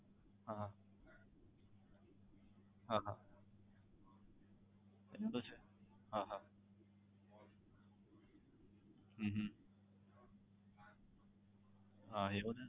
હા હા હા એમ તો છે હા હા હમ હા એવો ને